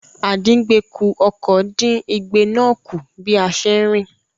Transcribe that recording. Àdíngbekù-ọkọ̀ dín igbe náà kù bí a ṣe ń rìn.